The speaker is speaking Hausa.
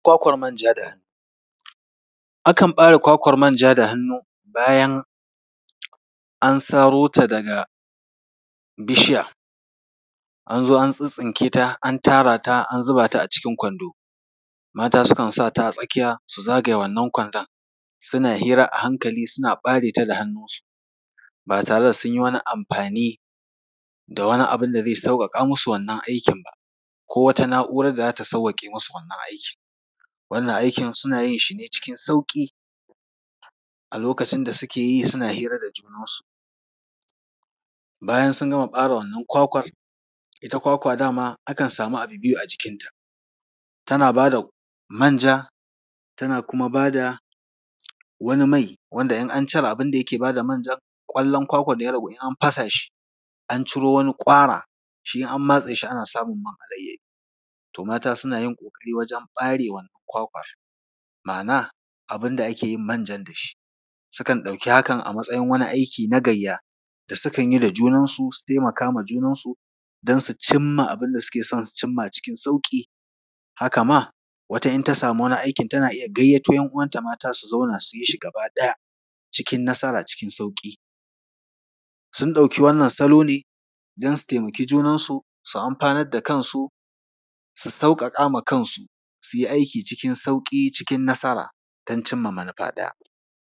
Kwakwar manja. Akan ɓare kwakwar manja da hannu bayan an saro ta daga bishiya, an zo an tsittsinke ta, an tara ta an zuba ta a cikin kwando. Mata sukan sa ta a tsakiya, su zagaye wannan kwandon. Suna hira a hankali, suna ɓare ta da hannunsu, ba tare da sun yi wani amfani da wani abu da zai sauƙaƙa musu wannan aikin ba, ko wata na’urar da za ta sawwaƙe musu wannan aikin. Wannan aikin suna yin shi ne cikin sauƙi, a lokacin da suke yi, suna hira da junansu. Bayan sun gama ɓare wannan kwakwar, ita kwakwa dama ana samun biyu a jikinta, tana ba da manja, tana kuma ba da wani mai, wanda in an cire abin da ke ba da manjan, ƙwallon kwakwar da ya ragu, in an fasa shi, an ciro wani ƙwara, shi in an matse shi ana samun man alayyadi. To mata suna yin ƙoƙari wajen ɓare wannan kwakwar. Ma’ana, abin da ake yin manjan da shi. Sukan yi hakan a matsayin wani aiki na gayya da sukan yi da junansu, su taimaka ma junansu don su cinma abin da suke son su cinma cikin sauƙi. Haka ma, wata idan ta samu wani aikin tana iya gayyato ‘yan uwanta mata su zauna, su yi shi gaba ɗaya, cikin nasara, cikin sauƙi. Sun ɗauki wannan salo ne, don su taimaki junansu, su amfanar da kansu, su sauƙaƙa ma kansu, su yi aiki cikin sauƙi, cikin nasara, don cinma manufa ɗaya.